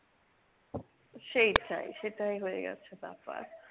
সেইটাই, সেটাই হয়ে গেছে ব্যাপার।